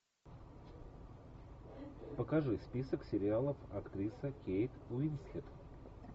покажи список сериалов актриса кейт уинслет